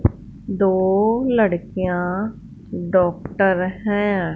दो लड़कियां डॉक्टर हैं।